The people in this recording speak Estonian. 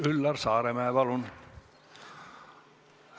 Üllar Saaremäe, palun!